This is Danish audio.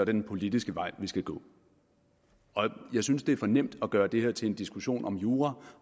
den politiske vej vi skal gå jeg synes det er for nemt at gøre det her til en diskussion om jura